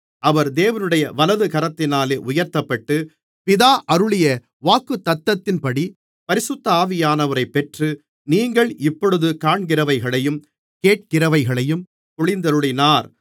அவர் தேவனுடைய வலது கரத்தினாலே உயர்த்தப்பட்டு பிதா அருளிய வாக்குத்தத்தத்தின்படி பரிசுத்த ஆவியானவரைப் பெற்று நீங்கள் இப்பொழுது காண்கிறவைகளையும் கேட்கிறவைகளையும் பொழிந்தருளினார்